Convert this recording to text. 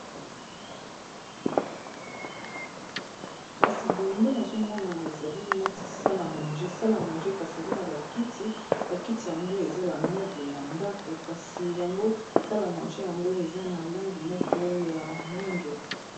kasi boye ndenazomona ezali neti salmange sale a manger kasi eza na bakiti bakiti yango eza ba meuble ya ndako kasi yango sale a manger yango eza na langi moko ya mwindo.